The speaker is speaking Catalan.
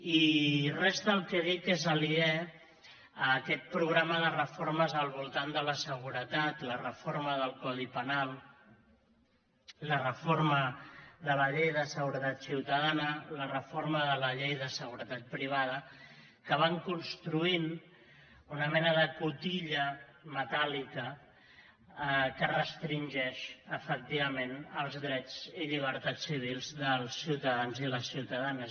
i res del que dic és aliè a aquest programa de reformes al voltant de la seguretat la reforma del codi penal la reforma de la llei de seguretat ciutadana la reforma de la llei de seguretat privada que van construint una mena de cotilla metàl·lica que restringeix efectivament els drets i llibertats civils dels ciutadans i les ciutadanes